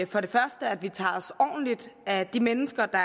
for det første at vi tager os ordentligt af de mennesker der